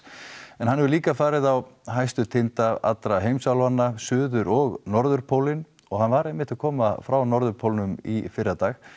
en hann hefur líka farið á hæstu tinda allra heimsálfanna suður og norðurpólinn og hann var einmitt að koma frá norðurpólnum í fyrradag